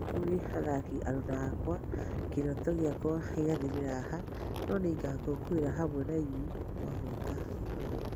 Kũrĩ athaki aruna akwa, kĩroto gĩakwa gĩathirĩra haha, no nĩngakũngũĩra hamwe nainyuĩ mwahotana gĩkombe.